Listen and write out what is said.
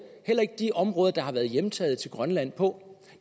heller ikke de områder der har været hjemtaget til grønland på